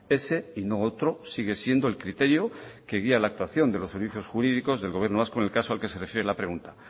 ese y no otro sigue siendo el criterio que guía la actuación de los servicios jurídicos del gobierno vasco en el caso al que se refiere la pregunta